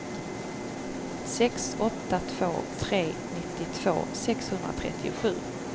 sex åtta två tre nittiotvå sexhundratrettiosju